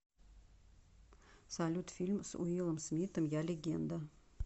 салют фильм с уилом смиттом я легенда